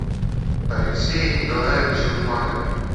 алексее николаевиче лукманове